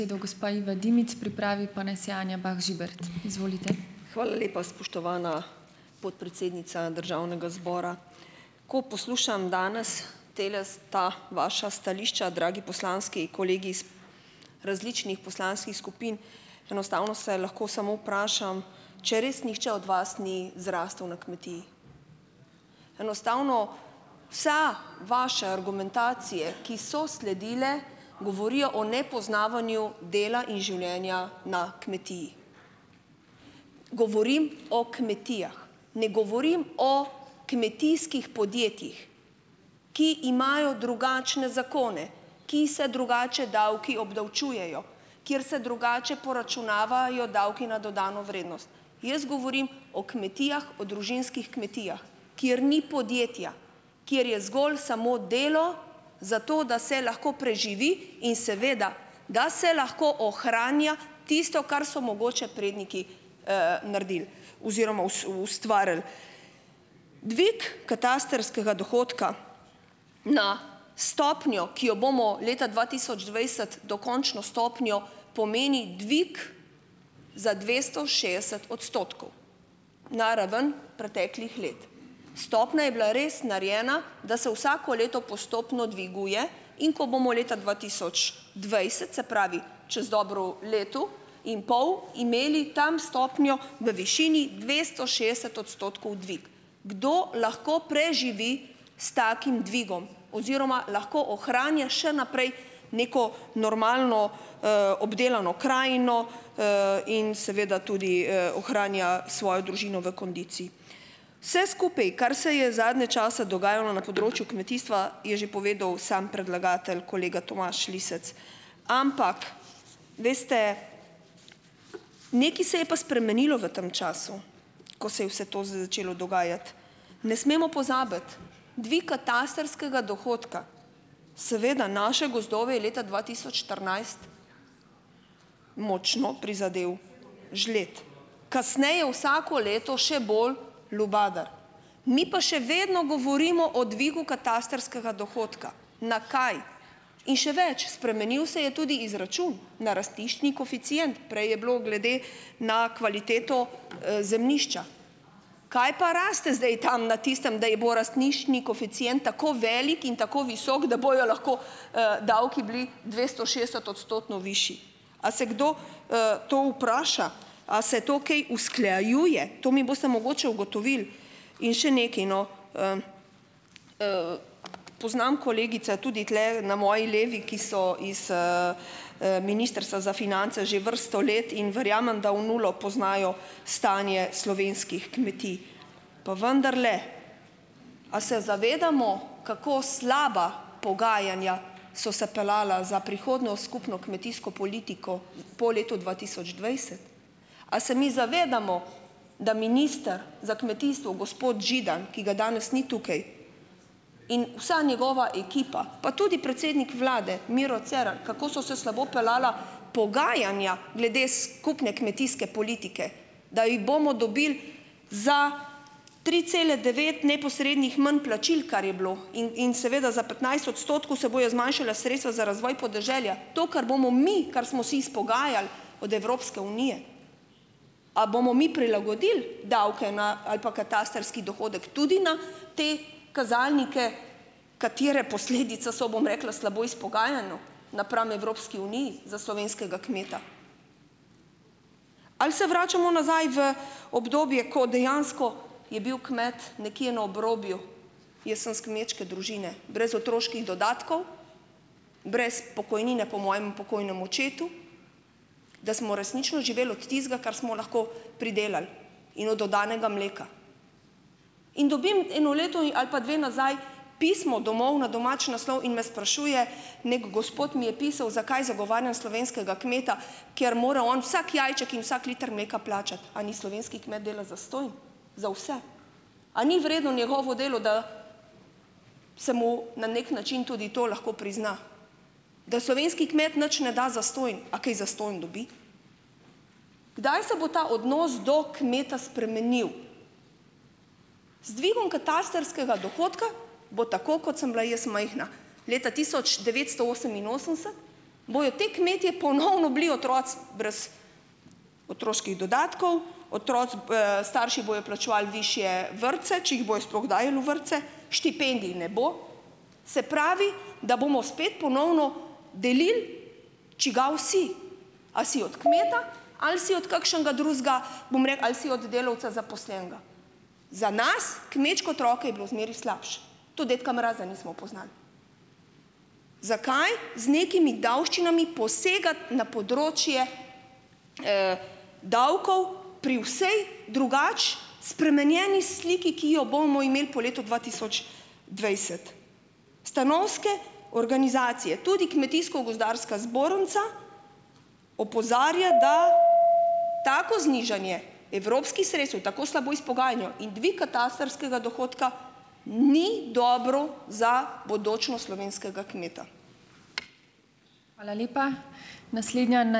Hvala lepa, spoštovana podpredsednica državnega zbora. Ko poslušam danes tele ta vaša stališča, dragi poslanski kolegi iz različnih poslanskih skupin, enostavno se lahko samo vprašam, če res nihče od vas ni zrastel na kmetiji. Enostavno - vse vaše argumentacije, ki so sledile, govorijo o nepoznavanju dela in življenja na kmetiji. Govorim o kmetijah. Ne govorim o kmetijskih podjetjih. Ki imajo drugačne zakone. Ki se drugače davki obdavčujejo. Kjer se drugače poračunavajo davki na dodano vrednost. Jaz govorim o kmetijah, o družinskih kmetijah. Kjer ni podjetja, kjer je zgolj samo delo, zato da se lahko preživi. In seveda, da se lahko ohranja tisto, kar so mogoče predniki, naredili. Oziroma ustvarili. Dvig katastrskega dohodka na stopnjo, ki jo bomo leta dva tisoč dvajset, dokončno stopnjo, pomeni dvig za dvesto šestdeset odstotkov. Na raven preteklih let. Stopnja je bila res narejena, da se vsako leto postopno dviguje, in ko bomo leta dva tisoč dvajset, se pravi, čez dobro leto in pol, imeli tam stopnjo na višini dvesto šestdeset odstotkov - dvig. Kdo lahko preživi s takim dvigom? Oziroma lahko ohranja še naprej neko normalno, obdelano krajino, in seveda tudi, ohranja svojo družino v kondiciji. Vse skupaj, kar se je zadnje čase dogajalo na področju kmetijstva, je že povedal samo predlagatelj kolega Tomaž Lisec. Ampak, veste, nekaj se je pa spremenilo v tem času, ko se je vse to začelo dogajati. Ne smemo pozabiti - dvig katastrskega dohodka. Seveda naše gozdove je leta dva tisoč štirinajst močno prizadel žled. Kasneje vsako leto še bolj lubadar, mi pa še vedno govorimo o dvigu katastrskega dohodka - na kaj? In še več, spremenil se je tudi izračun na rastiščni koeficient, prej je bilo glede na kvaliteto, zemljišča. Kaj pa raste zdaj tam na tistem, da je bo rastiščni koeficient tako velik in tako visok, da bojo lahko, davki bili dvestošestdesetodstotno višji. A se kdo, to vpraša? A se to kaj usklajuje? To mi boste mogoče ugotovili in še nekaj, no, - poznam kolegica, tudi tule na moji levi, ki so iz, Ministrstva za finance že vrsto let in verjamem, da v nulo poznajo stanje slovenskih kmetij, pa vendarle, a se zavedamo, kako slaba pogajanja so se peljala za prihodnjo skupno kmetijsko politiko po letu dva tisoč dvajset? A se mi zavedamo, da minister za kmetijstvo, gospod Židan, ki ga danes ni tukaj in vsa njegova ekipa, pa tudi predsednik vlade Miro Cerar, kako so se slabo peljala pogajanja glede skupne kmetijske politike, da jih bomo dobili za tri cele devet neposrednih manj plačil, kar je bilo in in seveda za petnajst odstotkov se bojo zmanjšala sredstva za razvoj podeželja, to, kar bomo mi, kar smo si izpogajali od Evropske unije. A bomo mi prilagodili davke na ali pa katastrski dohodek tudi na te kazalnike, katere posledica so, bom rekla, slabo izpogajano napram Evropski uniji za slovenskega kmeta? Ali se vračamo nazaj v obdobje, ko dejansko je bil kmet nekje na obrobju? Jaz sem iz kmečke družine, brez otroških dodatkov, brez pokojnine po mojem pokojnem očetu, da smo resnično živeli od tistega, kar smo lahko pridelali in od oddanega mleka. In dobim eno leto ali pa dve nazaj pismo domov na domači naslov in me sprašuje, neki gospod mi je pisal, zakaj zagovarjam slovenskega kmeta, ker more on vsak jajček in vsak liter mleka plačati - a naj slovenski kmet dela zastonj, za vse? A ni vredno njegovo delo, da se mu na neki način tudi to lahko prizna? Da slovenski kmet nič ne da zastonj, a kaj zastonj dobi? Kdaj se bo ta odnos do kmeta spremenil? Z dvigom katastrskega dohodka bo tako, kot sem bila jaz majhna, leta tisoč devetsto oseminosemdeset, bojo te kmetje ponovno bili otroci brez otroških dodatkov, otroci, starši bojo plačevali višje vrtce, če jih bodo sploh dajali v vrtce, štipendij ne bo, se pravi, da bomo spet ponovno delil, čigav si - a si od kmeta ali si od kakšnega drugega, bom ali si od delavca zaposlenega? Za nas, kmečke otroke je bilo zmeraj slabše, tudi dedka mraza nismo poznali. Zakaj z nekimi davščinami posegati na področje, davkov pri vsej drugače spremenjeni sliki, ki jo bomo imeli po letu dva tisoč dvajset? Stanovske organizacije, tudi Kmetijsko-gozdarska zbornica opozarja, da tako znižanje evropskih sredstev, tako slabo izpogajano in dvig katastrskega dohodka, ni dobro za bodočnost slovenskega kmeta.